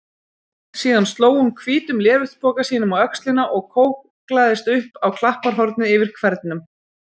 Síðan sló hún hvítum léreftspoka sínum á öxlina og kóklaðist upp á klapparhornið yfir hvernum.